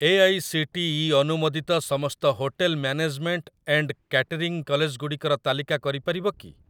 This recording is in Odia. ଏଆଇସିଟିଇ ଅନୁମୋଦିତ ସମସ୍ତ ହୋଟେଲ ମ୍ୟାନେଜମେଣ୍ଟ ଏଣ୍ଡ କ୍ୟାଟରିଂ କଲେଜଗୁଡ଼ିକର ତାଲିକା କରିପାରିବ କି?